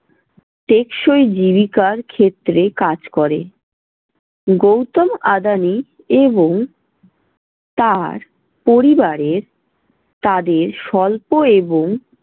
টেকসই জীবিকার ক্ষেত্রে কাজ করে। গৌতম আদানি এবং তার পরিবারের তাদের স্বল্প এবং